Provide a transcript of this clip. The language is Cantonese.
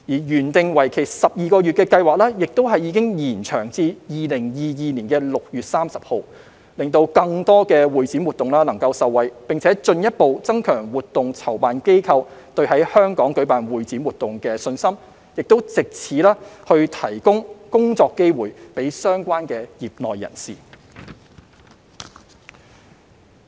原訂為期12個月的計劃已延長至2022年6月30日，讓更多會展活動受惠，並進一步增強活動籌辦機構對在香港舉辦會展活動的信心，以及藉此提供工作機會給相關業內人士。